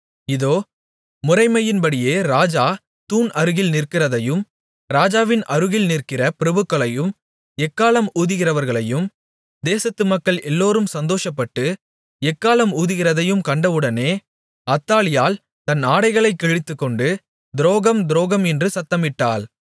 இதோ முறைமையின்படியே ராஜா தூண் அருகில் நிற்கிறதையும் ராஜாவின் அருகில் நிற்கிற பிரபுக்களையும் எக்காளம் ஊதுகிறவர்களையும் தேசத்து மக்கள் எல்லோரும் சந்தோஷப்பட்டு எக்காளம் ஊதுகிறதையும் கண்டவுடனே அத்தாலியாள் தன் ஆடைகளைக் கிழித்துக்கொண்டு துரோகம் துரோகம் என்று சத்தமிட்டாள்